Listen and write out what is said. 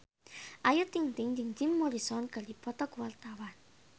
Ayu Ting-ting jeung Jim Morrison keur dipoto ku wartawan